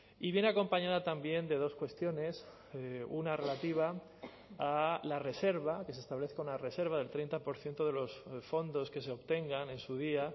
y viene acompañada también de dos cuestiones una relativa a la reserva que se establezca una reserva del treinta por ciento de los fondos que se obtengan en su día